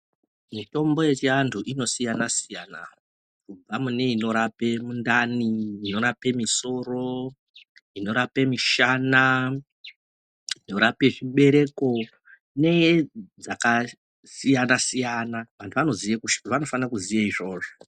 Mitombo yechiantu inosiyana siyana kubve inorape mune mundani inorape misoro inorape mishana inorape zvibereo kune dzakasiyana siyana vantu vanofane kuziya izvozvo.